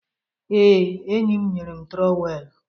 Ee, enyi m nyere m trowelu